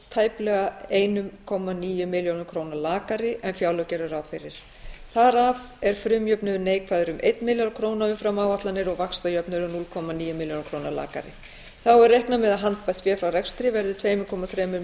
tæplega eitt komma níu milljörðum króna lakari en fjárlög gera ráð fyrir þar af er frumjöfnuður neikvæður um einn milljarð króna umfram áætlanir og vaxtajöfnuður núll komma níu milljörðum króna lakari þá er reiknað með að handbært fé frá rekstri verði tvö komma þrír